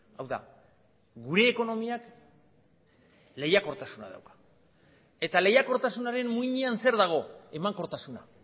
hau da gure ekonomiak lehiakortasuna dauka eta lehiakortasunaren muinean zer dago emankortasuna